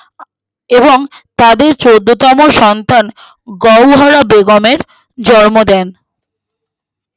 এবং তাদের চোদ্দোতম সন্তান গৌহরা বেগমের জন্ম দেয়